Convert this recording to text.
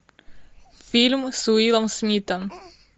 фильм с уиллом смитом